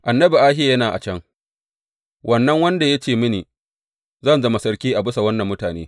Annabi Ahiya yana a can, wannan wanda ya ce mini zan zama sarki a bisa wannan mutane.